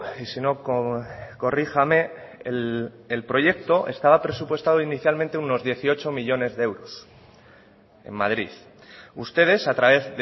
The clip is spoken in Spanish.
y si no corríjame el proyecto estaba presupuestado inicialmente unos dieciocho millónes de euros en madrid ustedes a través